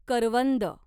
करवंद